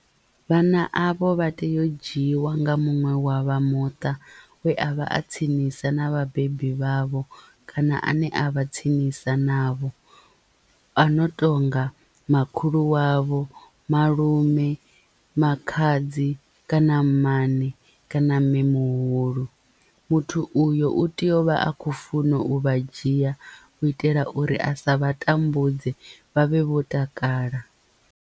Vhana avho vha tea u dzhiiwa nga muṅwe wa vha muṱa we a vha a tsinisa na vhabebi vhavho kana ane a vha tsinisa navho a no tonga makhulu wavho, malume, makhadzi kana mmane kana mme muhulu muthu uyo u tea uvha a kho funa u vha dzhia u itela uri a sa vha tambudze vha vhe vho takala.